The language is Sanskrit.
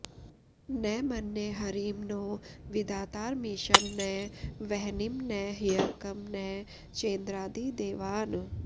न मन्ये हरिं नो विधातारमीशं न वह्निं न ह्यर्कं न चेन्द्रादिदेवान्